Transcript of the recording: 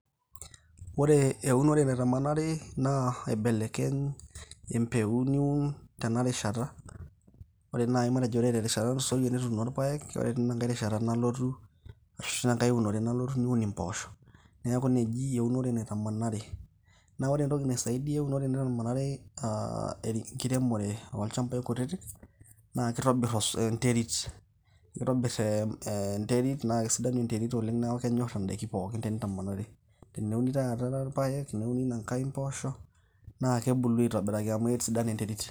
Ore eunore naitamanari, na aibelekeny empeun niun tenarishata. Ore nai matejo terishata natulusoyie nituuno irpaek, ore tenkae rishata nalotu arsahu ore tenkae unore nalotu niun impoosho. Neeku ina eunore naitamanari. Na ore entoki naisaidia eunore naitamanari enkiremore olchambai kutitik, na kitobir enterit. Kitobiri enterit na kesidanu enterit oleng' neeku kenyor idaiki pookin enitamanari. Eneuni taata paek, neuni inankae mpoosho, na kebulu aitobiraki amu kesidai enterit.